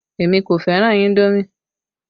Èmi kò fẹ́ràn indomi